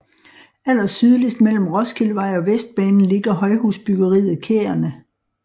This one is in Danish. Allersydligst mellem Roskildevej og Vestbanen ligger højhusbyggeriet Kærene